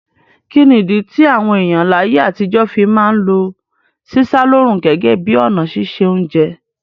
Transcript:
Kíni ìdí ti àwon èyàn láyé àtijọ́ fi ma n lo sísá lóòrùn gẹ́gẹ́ bi ọ̀nà sise ounje